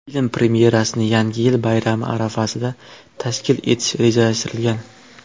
Film premyerasini Yangi yil bayrami arafasida tashkil etish rejalashtirilgan.